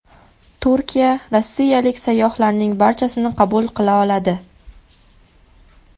Turkiya rossiyalik sayyohlarning barchasini qabul qila oladi.